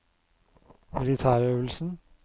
militærøvelsen